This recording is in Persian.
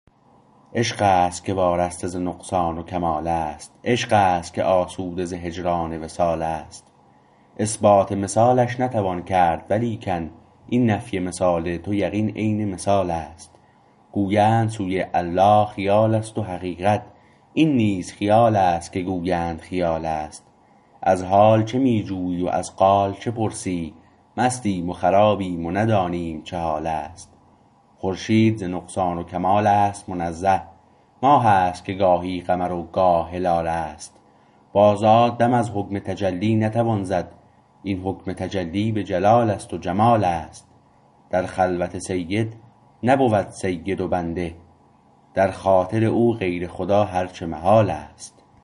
عشق است که وارسته ز نقصان و کمالست عشق است که آسوده ز هجران وصال است اثبات مثالش نتوان کرد ولیکن این نفی مثال تو یقین عین مثال است گویند سوی الله خیال است و حقیقت این نیز خیال است که گویند خیال است از حال چه می جویی و از قال چه پرسی مستیم و خرابیم و ندانیم چه حال است خورشید ز نقصان و کمال است منزه ماه است که گاهی قمر و گاه هلال است با ذات دم از حکم تجلی نتوان زد این حکم تجلی به جلال است و جمال است در خلوت سید نبود سید و بنده در خاطر او غیر خدا هر چه محال است